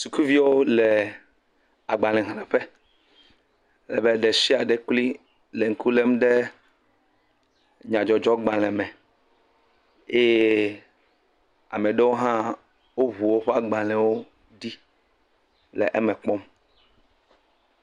Sukuviwo le agbalexleƒe. ale be ɖe sia ɖe kloe le ŋku lem ɖe nyadzɔdzɔgbale me eye ame aɖewo hã woŋu woƒe agbale ɖi le wome kpɔm.